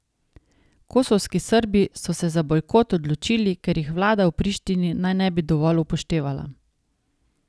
Kosovski Srbi so se za bojkot odločili, ker jih vlada v Prištini naj ne bi dovolj upoštevala.